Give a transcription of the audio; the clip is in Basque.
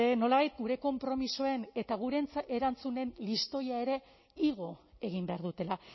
nolabait gure konpromisoen eta gure erantzunen listoia ere igo egin behar dutela